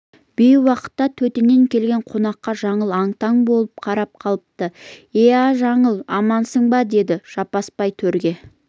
бейуақытта төтеннен келген қонаққа жаңыл аң-таң боп қарап қалыпты иә жаңыл амансың ба деді жаппасбай төрге